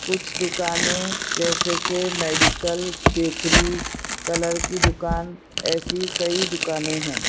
कुछ दुकानें जैसे कि मेडिकल बेकरी कलर की दुकान ऐसी कई दुकानें हैं।